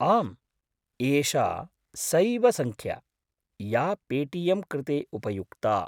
आम्, एषा सैव सङ्ख्या, या पे.टि.एम्. कृते उपयुक्ता।